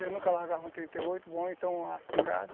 Eu nunca largava um trinta e oito, bom, então a espingarda